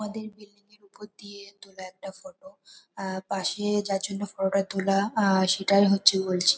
আমাদের বিল্ডিং ওপর দিয়ে তোলা একটা ফটো আহ পাশে যার জন্য ফটো -টা তোলা আহ সেটাই হচ্ছে বলছি ।